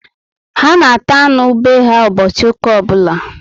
Ha na ata anụ be ha ụbọchị ụka obula